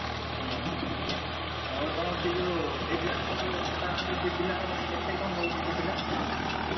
ହଁ ଆଉ ତମର ସେ ଯୋଉ ସେଇ ପିଲାଟି ତମର ଭଡା ଆଣିଛ ସେ ପିଲା କେତେ କଣ ନଉଚି ସେ ପିଲା?